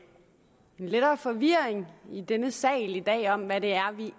lettere forvirring i denne sal i dag om hvad det